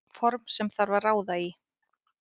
Form sem þarf að ráða í.